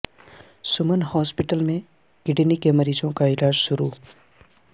سمن ہاسپیٹل میں کڈنی کے مریضوں کا علاج شروع